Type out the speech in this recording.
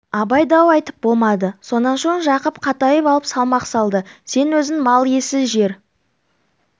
абай дау айтып болмады сонан соң жақып қатайып алып салмақ салды сен өзің мал иесі жер